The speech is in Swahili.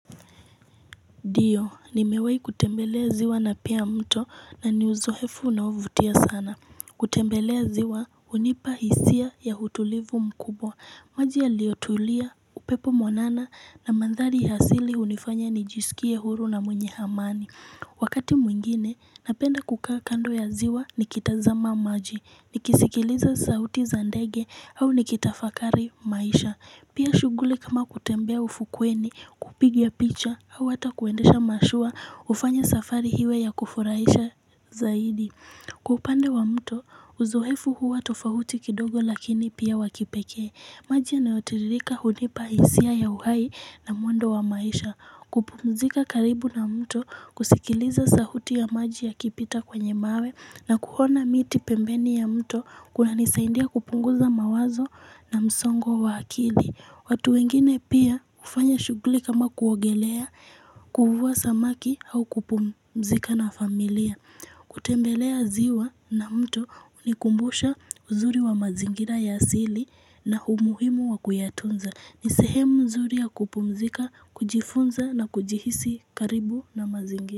Ndiyo nimewai kutembelea ziwa na pia mto na niuzoefu na huvutia sana. Kutembelea ziwa hunipa hisia ya utulivu mkubwa maji yaliyotulia, upepo mwanana, na mandhari asili hunifanya nijisikie huru na mwenye amani Wakati mwingine, napenda kukaa kando ya ziwa nikitazama maji, nikisikiliza sauti za ndege au nikitafakari maisha. Pia shughuli kama kutembea ufukweni, kupigia picha au hata kuendesha mashua hufanya safari iwe ya kufurahisha zaidi. Kwa upande wa mto, Uzoefu huwa tofauti kidogo lakini pia wakipekee maji yanayotiririka hunipa hisia ya uhai na mwendo wa maisha kupumzika karibu na mto, kusikiliza sauti ya maji yakipita kwenye mawe na kuona miti pembeni ya mto, kunanisaidia kupunguza mawazo na msongo wa akili watu wengine pia hufanya shughuli kama kuogelea, kuvua samaki au kupumzika na familia kutembelea ziwa na mto hunikumbusha uzuri wa mazingira ya asili na umuhimu wa kuyatunza. Ni sehemu zuri ya kupumzika, kujifunza na kujihisi karibu na mazingira.